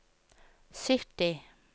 sytti